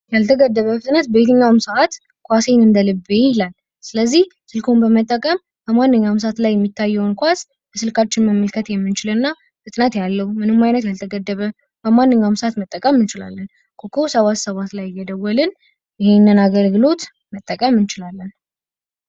ያልተገደበ ፍጥነት በየትኛውም ሰአት ኳሴን እንደልቤ ይላል። ስልኩን በመጠቀም በማንኛውም የሚለቀቀውን ኳሶችን በስልካችን መመልከት እና ፍጥነት ያለው ያልተገደበ ኮከብ ሰባት ሰባት ላይ እየደወልን ይሄንን አገልግሎት መጠቀም እንችላለን።